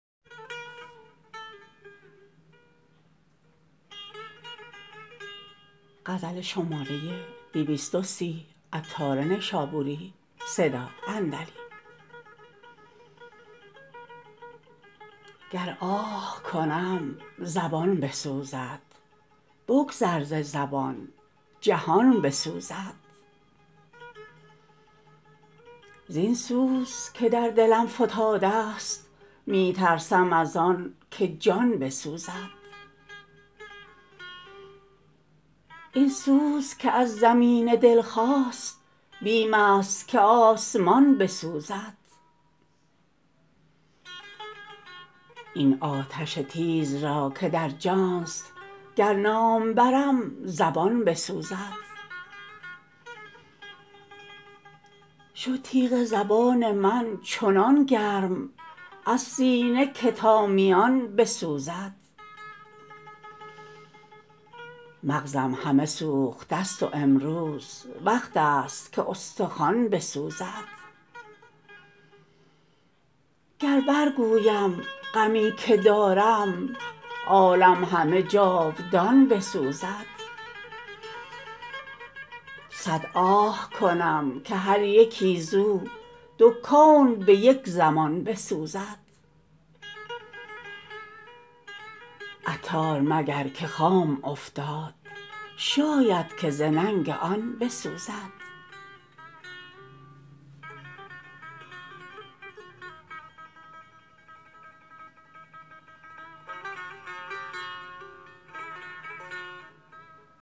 گر آه کنم زبان بسوزد بگذر ز زبان جهان بسوزد زین سوز که در دلم فتادست می ترسم از آن که جان بسوزد این سوز که از زمین دل خاست بیم است که آسمان بسوزد این آتش تیز را که در جان است گر نام برم زبان بسوزد شد تیغ زبان من چنان گرم از سینه که تا میان بسوزد مغزم همه سوختست وامروز وقت است که استخوان بسوزد گر بر گویم غمی که دارم عالم همه جاودان بسوزد صد آه کنم که هر یکی زو دو کون به یک زمان بسوزد عطار مگر که خام افتاد شاید که ز ننگ آن بسوزد